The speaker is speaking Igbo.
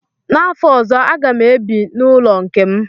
N'afọ ọzọ a ga m ebi n'ụlọ nke m